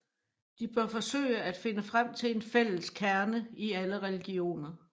De bør forsøge at finde frem til en fælles kerne i alle religioner